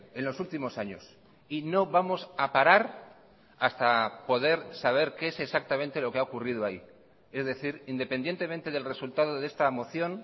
en los últimos años y no vamos a parar hasta poder saber qué es exactamente lo que ha ocurrido ahí es decir independientemente del resultado de esta moción